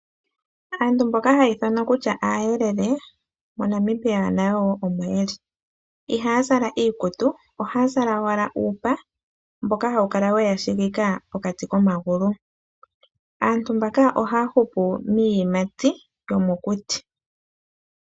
Aantu mboka haya ithanwa kutya aayelele moNamibia nayo woo omoyeli, ihaazala iikutu ohaya zala wala uupa mboka hawu kala weyashigika pokati komagulu. Aantu mbaka ohaa hupu miiyimati yomokuti.